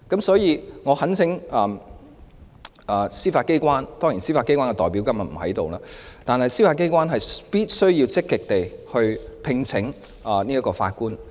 所以，我懇請司法機關——司法機關的代表今天不在席——必須積極聘請法官。